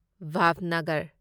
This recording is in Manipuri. ꯚꯥꯚꯅꯒꯔ